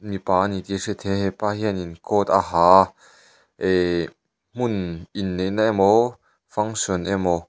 mipa ani tih a hriat theih a hepa hianin coat a ha a eehh hmun in neihna emaw function emaw--